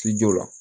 Ci jɔ la